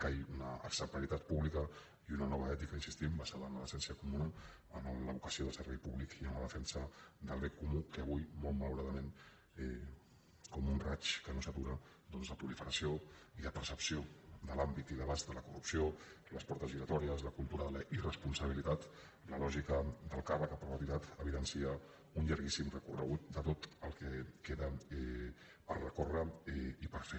cal una exemplaritat pública i una nova ètica hi insistim basada en la decència comuna en la vocació de servei públic i en la defensa del bé comú que avui molt malauradament com un raig que no s’atura la proliferació i la percepció de l’àmbit i l’abast de la corrupció les portes giratòries la cultura de la irresponsabilitat la lògica del càrrec a perpetuïtat evidencia un llarguíssim recorregut de tot el que queda per recórrer i per fer